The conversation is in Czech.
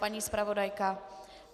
Paní zpravodajka?